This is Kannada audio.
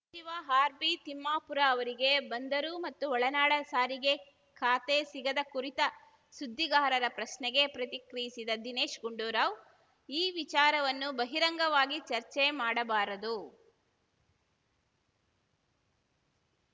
ಸಚಿವ ಆರ್‌ಬಿತಿಮ್ಮಾಪುರ ಅವರಿಗೆ ಬಂದರು ಮತ್ತು ಒಳನಾಡ ಸಾರಿಗೆ ಖಾತೆ ಸಿಗದ ಕುರಿತ ಸುದ್ದಿಗಾರರ ಪ್ರಶ್ನೆಗೆ ಪ್ರತಿಕ್ರಿಯಿಸಿದ ದಿನೇಶ್‌ ಗುಂಡೂರಾವ್‌ ಈ ವಿಚಾರವನ್ನು ಬಹಿರಂಗವಾಗಿ ಚರ್ಚೆ ಮಾಡಬಾರದು